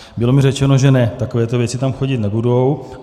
Bylo mi řečeno, že ne, takovéto věci tam chodit nebudou.